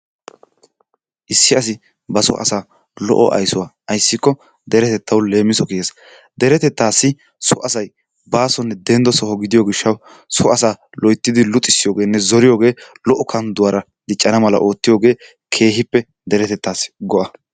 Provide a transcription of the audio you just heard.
Issi asi ba soo asaa lo"o ayssuwaa ayssikko deretettawu leemiso kiyees. Deretettaassi so asay baasonne dendo so gidiyo gishshaw so asaa loyttidi luxxissiyoogeenne lo'o kandduwara diccana mala oottiyogee keehiippe deretettaasi go'a.